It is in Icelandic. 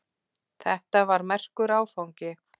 Þetta var merkur áfangi.